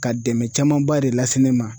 Ka dɛmɛn camanba de lase ne ma.